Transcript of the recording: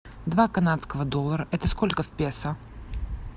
два канадского доллара это сколько в песо